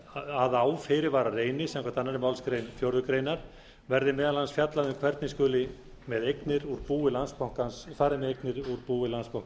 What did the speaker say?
að á fyrirvara reyni samkvæmt annarri málsgrein fjórðu grein verði meðal annars fjallað um hvernig farið skuli með eignir úr búi landsbanka íslands h